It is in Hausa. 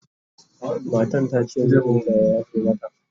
matan tace mijinta ya yafe mata